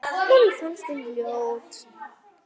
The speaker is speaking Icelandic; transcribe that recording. Honum fannst hún ljót.